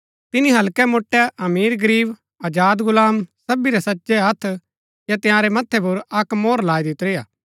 तिनी हल्के मोट्टै अमीरगरीब आजादगुलाम सबी रै सज्जै हत्थ या तंयारै मथ्थै पुर अक्क मोहर लाई दितुरी हा